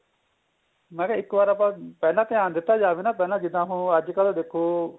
ਮੈਂ ਇੱਕ ਵਾਰ ਆਪਾਂ ਪਹਿਲਾਂ ਧਿਆਨ ਦਿੱਤਾ ਜਾਵੇ ਨਾ ਪਹਿਲਾਂ ਜਿੱਦਾ ਉਹ ਅੱਜਕਲ ਦੇਖੋ